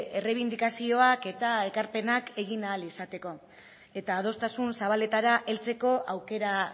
errebindikazioak eta ekarpenak egin ahal izateko eta adostasun zabaletara heltzeko aukera